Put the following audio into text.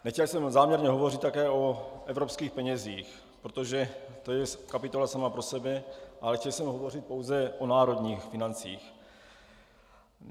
Nechtěl jsem záměrně hovořit také o evropských penězích, protože to je kapitola sama pro sebe, ale chtěl jsem hovořit pouze o národních financích.